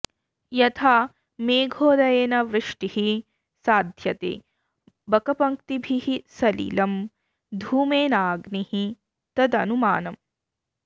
यथा मेघोदयेन वृष्टिः साध्यते बकपङ्क्तिभिः सलिलम् धूमेनाग्निः तदनुमानम्